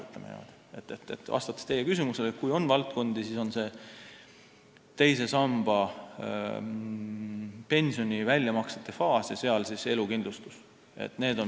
Vastates teie küsimusele, kas on mingeid probleemseid valdkondi, siis on see teise samba pensioni väljamaksete faas ja elukindlustus.